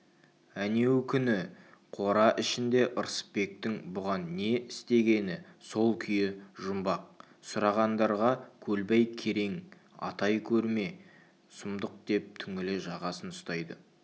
әнеу күні қора ішінде рысбектің бұған не істегені сол күйі жұмбақ сұрағандарға көлбай керең атай көрме сұмдық деп түңіле жағасын ұстайды